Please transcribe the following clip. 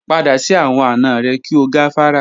Pada si awọn ana rẹ ki o gafara.